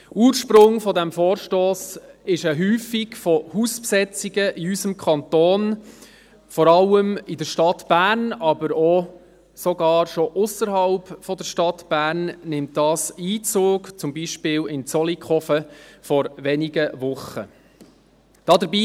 Ursprung dieses Vorstosses ist eine Häufung von Hausbesetzungen in unserem Kanton, vor allem in der Stadt Bern, aber auch schon ausserhalb der Stadt Bern hält dies sogar Einzug, zum Beispiel vor wenigen Wochen in Zollikofen.